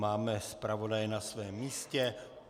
Máme zpravodaje na svém místě.